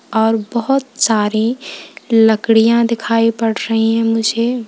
और बहुत सारी लड़कियां दिखाई पड़ रही है मुझे।